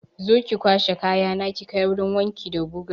Zo ki kwashe kayana ki kai wurin wanki da guga!